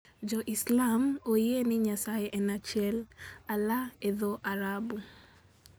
Jo-Islam oyie ni Nyasaye en achiel. Allah e dho-Arabu.